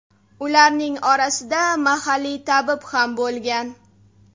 Ularning orasida mahalliy tabib ham bo‘lgan.